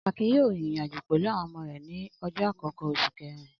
Akin yóò rìnrìn-àjò pẹ̀lú àwọn ọmọ rẹ̀ ní ọjọ́ àkọ́kọ́ oṣù kẹ̀rin.